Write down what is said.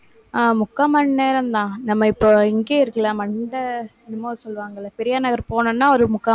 ஆஹ் முக்கா மணி நேரம்தான். நம்ம இப்போ இங்கேயே இருக்கலாம். மண்ட~ என்னமோ சொல்லுவாங்கல்ல, பெரியார் நகர் போகணும்னா ஒரு முக்கா